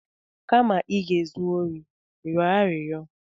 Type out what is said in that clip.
Kama ị ga-ezu ohi, rịọ arịrịọ!